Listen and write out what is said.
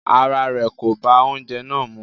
Ará rẹ̀ kò bá oúnjẹ náà mú.